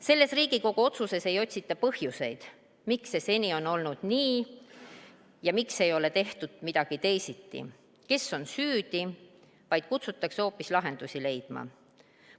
Selles Riigikogu otsuses ei otsita põhjuseid, miks see seni on olnud nii ja miks ei ole tehtud midagi teisiti, kes on süüdi, vaid kutsutakse hoopis lahendusi leidma.